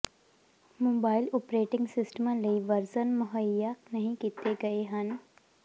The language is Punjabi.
ਮੋਬਾਈਲ ਓਪਰੇਟਿੰਗ ਸਿਸਟਮਾਂ ਲਈ ਵਰਜਨ ਮੁਹੱਈਆ ਨਹੀਂ ਕੀਤੇ ਗਏ ਹਨ